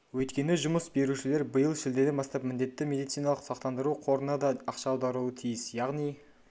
өйткені жұмыс берушілер биыл шілдеден бастап міндетті медициналық сақтандыру қорына да ақша аударуы тиіс яғни